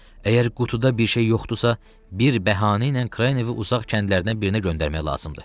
Əgər qutuda bir şey yoxdursa, bir bəhanə ilə Kranivi uzaq kəndlərdən birinə göndərmək lazımdır.